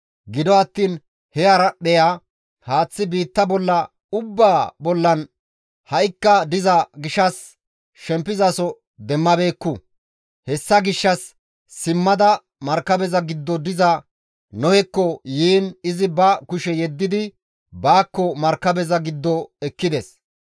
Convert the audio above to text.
Gido attiin he haraphpheya haaththi biitta ubbaa bollan ha7ikka diza gishshas shempizaso demmabeekku; hessa gishshas simmada markabeza giddon diza Nohekko yiin izi ba kushe yeddidi baakko markabeza giddo ekkides.